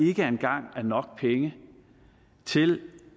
ikke engang er nok penge til